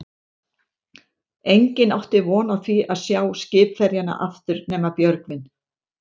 Enginn átti von á því að sjá skipverjana aftur nema Björgvin.